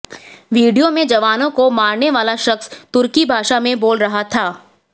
video में जवानों को मारने वाला शख्स तुर्की भाषा में बोल रहा था